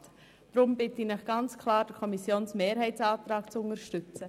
Deshalb bitte ich Sie, den Antrag der Kommissionsmehrheit zu unterstützen.